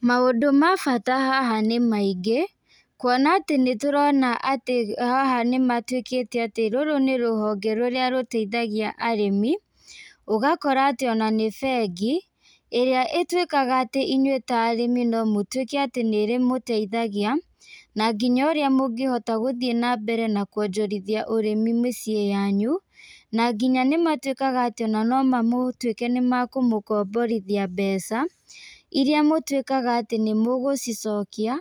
Maũndũ ma bata haha nĩmaingĩ, kuona atĩ nĩtũrona atĩ haha nĩmatuĩkĩte atĩ rũrũ nĩrũhonge rũrĩa rũteithagia arĩmi, ũgakora atĩ ona nĩ bengi, ĩrĩa ĩtuĩkaga atĩ inyuĩ ta arĩmi no mũtuĩke atĩ nĩrĩmũteithagia, na nginya ũrĩa mũngĩhota gũthiĩ nambere na kuonjorithia ũrĩmi mĩciĩ yanyu, na nginya nĩmatuĩkaga atĩ ona no mamũtuĩke nĩmakũmũkomborithia mbeca, ĩrĩa mũtuĩkaga atĩ nĩmũgũcicokia,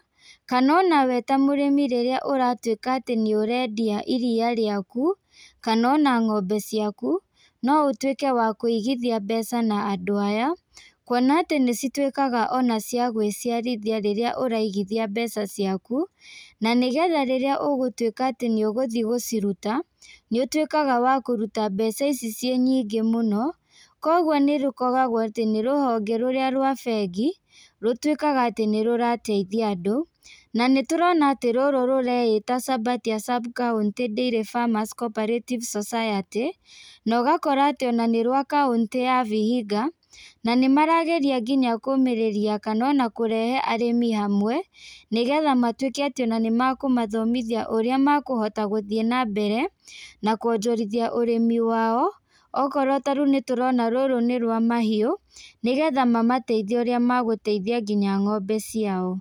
kana ona we ta mũrĩmi rĩrĩa ũratuĩka atĩ nĩũrendia iria rĩaku, kana ona ng'ombe ciaku, no ũtuĩke wa kũigithia mbeca na andũ aya, kuona atĩ nĩcituĩkaga ona cia gwĩciarithia rĩrĩa ũraigithia mbeca ciaku, na nĩgetha rĩrĩa ũgũtuĩka atĩ nĩũgũthi gũciruta, nĩũtuĩkaga wa kũruta mbeca ici ciĩ nyingĩ mũno, koguo nĩrũkoragwo atĩ nĩrũhonge rũrĩa rwa bengi, rũtuĩkaga atĩ nĩrũrateithia andũ, na nĩtũrona atĩ rũrũ rũreĩta, Sabatia sub-county Dairy Farmers co-operative society, na ũgakora atĩ nĩrwa kaũntĩ ya Vihiga, na nĩmarageria nginya kũmĩrĩria kana ona kũrehe arĩmi hamwe, negetha matuĩke atĩ ona nĩmakũmathomithia ũrĩa makũhota gũthiĩ nambere, na kuonjorithia ũrĩmi wao, okorwo ta rĩũ nĩtũrona rũrũ nĩ rwa mahiũ, nĩgetha mamateithie ũrĩa magũteithia nginya ng'ombe ciao.